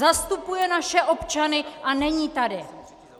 Zastupuje naše občany a není tady!